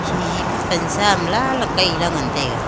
hihi pe pan sa am lan le kai la ngan taiga.